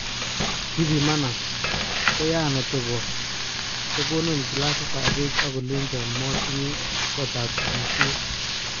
Kipimanan, koyaan otebot, kokonon kilasit ab peek ako lenchon motinye kotab sigishet.